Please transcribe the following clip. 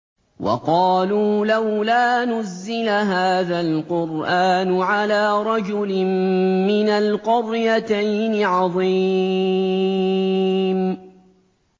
وَقَالُوا لَوْلَا نُزِّلَ هَٰذَا الْقُرْآنُ عَلَىٰ رَجُلٍ مِّنَ الْقَرْيَتَيْنِ عَظِيمٍ